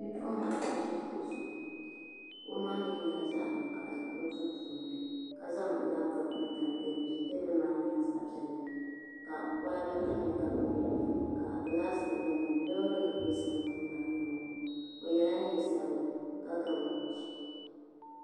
Bipuɣungi n ʒi kuɣu zuɣu kuɣu maa mii nyɛla zaɣ vakaɣali o duu puuni ka zaŋ labtop n tam teebuli zuɣu teebuli maa nyɛla zaɣ piɛlli ka kolba tamya ka bini bɛ di puuni ka gilaas nim bɛ di puuni loori nim bɛ sambani maa puuni o yɛla neen sabila ka ga wooch